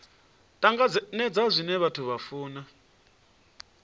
tanganedza zwine vhathu vha funa